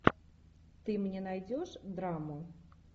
ты мне найдешь драму